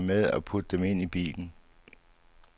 Pak de ting, du vil have med, og put dem ind i bilen.